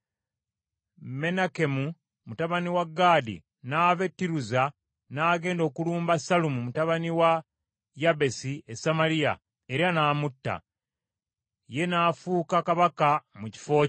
Menakemu mutabani wa Gaadi n’ava e Tiruza n’agenda okulumba Sallumu mutabani wa Yabesi e Samaliya, era n’amutta. Ye n’afuuka kabaka mu kifo kye.